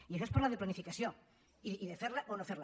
i això és parlar de planificació i de fer la o no fer la